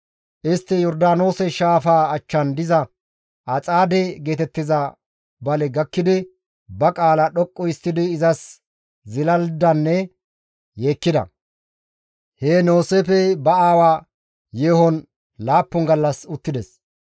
Istti Yordaanoose shaafaa achchan diza Axaade geetettiza bale gakkidi ba qaalaa dhoqqu histtidi izas zilalidanne yeekkida; heen Yooseefey ba aawa yeehon laappun gallas uttides.